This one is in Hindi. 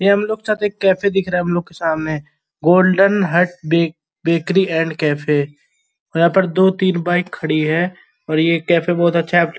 ये हम लोगो के साथ एक कैफ़े दिख रहा है हम लोगो के सामने golden heart bake bakery and cafe यहाँ पर दो तीन बाइक खड़ीं है और ये कैफ़े बहुत अच्छा --